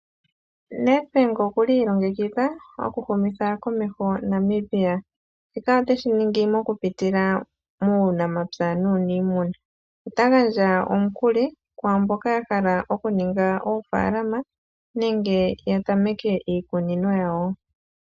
Nedbank okuli iilongekidha oku humitha komeho Namibia. Shika oteshi ningi moku pitila muunamapya nuuniimuna, ota gandja omukuli ku mboka ya hala oku ninga oofaalama nenge ya tameke iikunino yawo.